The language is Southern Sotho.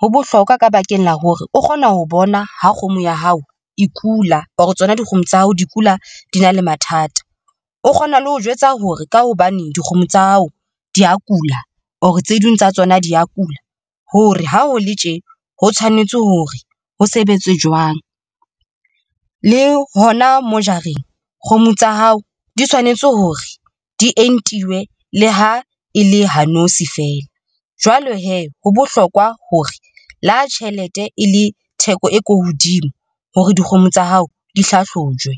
Ho bohlokwa ka bakeng la hore o kgona ho bona ha kgomo ya hao e kula or tsona dikgomo tsa hao di kula, di na le mathata, o kgona le ho jwetsa hore ka hobane dikgomo tsa hao di a kula, or tse ding tsa tsona di a kula. Hore ha ho le tje ho tshwanetse hore ho sebetswe jwang le hona mo jareng, kgomo tsa hao di tshwanetse hore di entiwe le ha e le ha nosi feela jwale hee, ho bohlokwa hore le ha tjhelete e le theko e ko hodimo hore dikgomo tsa hao di hlahlojwe.